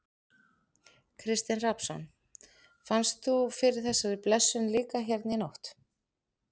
Kristinn Hrafnsson: Fannst þú fyrir þessari blessun líka hérna í nótt?